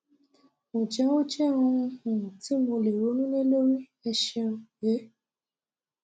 ǹjẹ ó jẹ ohun um ti mo lè ronú lé lórí ẹ ṣeun um